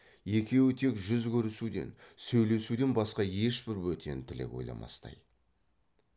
екеуі тек жүз көрісуден сөйлесуден басқа ешбір бөтен тілек ойламастай